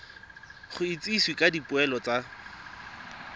go itsisiwe ka dipoelo tsa